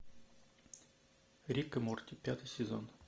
рик и морти пятый сезон